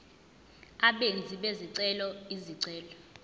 abenzi bezicelo izicelo